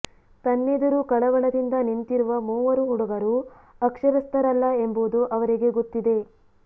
ತನ್ನೆದುರು ಕಳವಳದಿಂದ ನಿಂತಿರುವ ಮೂವರು ಹುಡುಗರು ಅಕ್ಷರಸ್ಥರಲ್ಲ ಎಂಬುದು ಅವರಿಗೆ ಗೊತ್ತಿದೆ